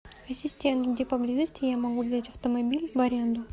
ассистент где поблизости я могу взять автомобиль в аренду